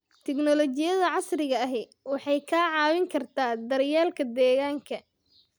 Tignoolajiyada casriga ahi waxay kaa caawin kartaa daryeelka deegaanka.